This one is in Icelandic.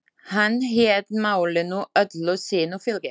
Hann hét málinu öllu sínu fylgi.